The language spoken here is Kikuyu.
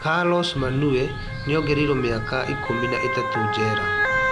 Carlos Manuel nĩongereirwo miaka ikũmi na ĩtatũ njera